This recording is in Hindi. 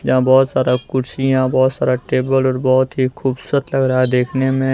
यहां बहोत सारा कुर्सियां बहोत सारा टेबल और बहोत ही खूबसूरत लग रहा है देखने में।